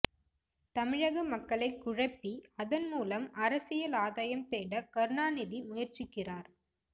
தமிழக மக்களை குழப்பி அதன் மூலம் அரசியல் ஆதாயம் தேட கருணாநிதி முயற்சிக்கிறார்